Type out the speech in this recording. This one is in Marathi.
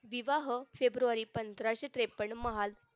विवाह फेब्रुवारी पंधराशे त्रेपन्न महाल